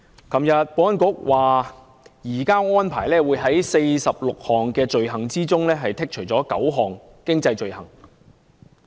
昨天保安局表示，移交安排所涵蓋的46項罪類中，有9項經濟罪類將予剔除。